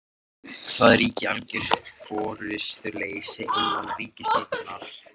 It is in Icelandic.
Það ríki algjör forystuleysi innan ríkisstjórnarinnar